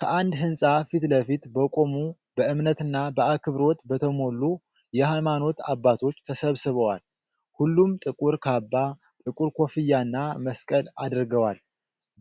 ከአንድ ሕንፃ ፊት ለፊት በቆሙ በእምነትና በአክብሮት በተሞሉ የሃይማኖት አባቶች ተሰብስበዋል። ሁሉም ጥቁር ካባ፣ ጥቁር ኮፍያና መስቀል አድርገዋል፣